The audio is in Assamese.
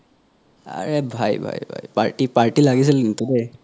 আৰে ভাই ভাই ভাই party লাগিছিল কিন্তু দেই